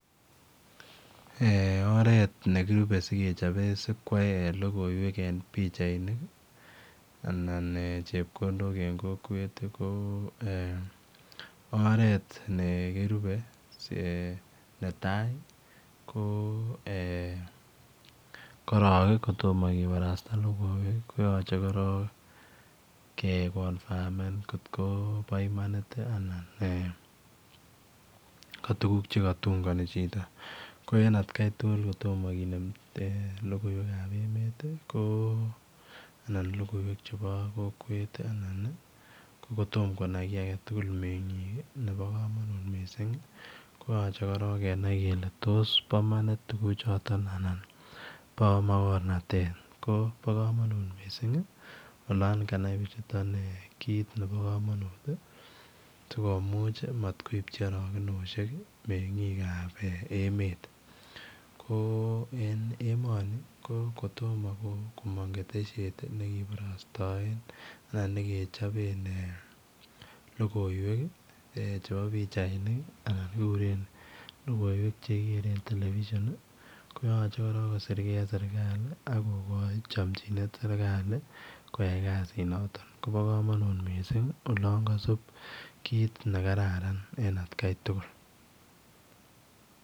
Eeh oret nikirupe sikowal logoiwek en pichainik ii anan chepkondok en kokwet oret nikirupe neta ko korong kotamah kibarasta ko yachei ke confirmeen koot kobo Imani it anan eeh ka tuguuk che katungani chitoo ko en at Kai tuguul ko tomah kinem logoiwek ab emet anan logoiwek che bo kokwet ii ko kotamah Konami kiit age mengiik ii ko kenai kele tos bo imanit tuguk chotoon anan bo makornatet bo kamanut missing olaan kanai bichutoon kit nebo kamanut sikomuuch matkoibchii arokenosiek mengiik ab emet ko en emani ko kotomah komang ketesyet nekibarasaen anan nekechapeen logoiwek chebo pichainik anan logoiwek che kigeren [televisión] ko yachei kosirgei en serikali sikonyor chamjinet nebo kasiit nitoon kobaa kamanut olaan kasiit kiit ne kararan en at Kai tuguul.